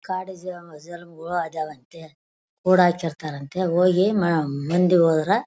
ಕೂಡಿ ಹಾಕಿರ್ತಾರಂತೆ ಹೋಗಿ ಮ್ ಮಂದಿ ಹೋದ್ರೆ --